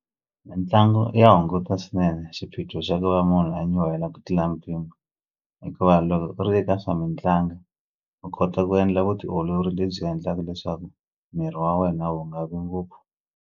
Mitlangu ya hunguta swinene xiphiqo xa ku va munhu a nyuhela ku tlula mpimo hikuva loko u ri eka swa mitlangu u kota ku endla vutiolori lebyi endlaka leswaku miri wa wena wu nga vi ngopfu.